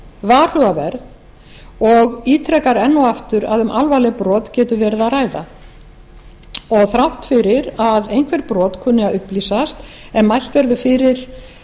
varhugaverð og ítrekar enn og aftur að um alvarlega brot geti verið að ræða þrátt fyrir að einhver brot kunni að upplýsast ef mælt verður fyrir